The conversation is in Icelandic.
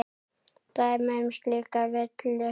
Dæmi um slíka villu væri